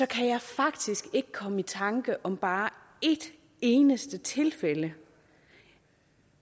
kan jeg faktisk ikke komme i tanke om bare ét eneste tilfælde